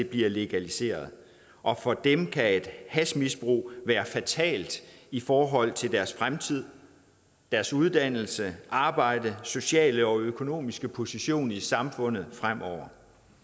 bliver legaliseret og for dem kan et hashmisbrug være fatalt i forhold til deres fremtid deres uddannelse arbejde og sociale og økonomiske position i samfundet fremover